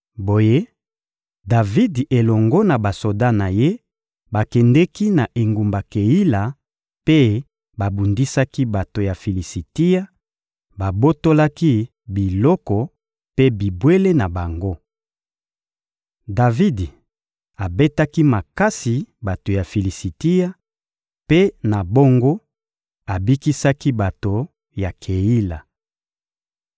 Boye Davidi elongo na basoda na ye bakendeki na engumba Keila mpe babundisaki bato ya Filisitia, babotolaki biloko mpe bibwele na bango. Davidi abetaki makasi bato ya Filisitia, mpe, na bongo, abikisaki bato ya Keila.